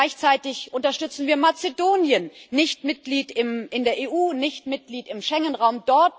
Gleichzeitig unterstützen wir Mazedonien nicht Mitglied in der EU, nicht Mitglied im Schengen Raum.